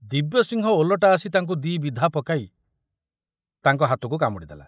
ଦିବ୍ୟସିଂହ ଓଲଟା ଆସି ତାଙ୍କୁ ଦି ବିଧା ପକାଇ ତାଙ୍କ ହାତକୁ କାମୁଡ଼ି ଦେଲା।